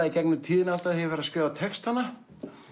í gegnum tíðina alltaf þegar ég hef verið að skrifa textana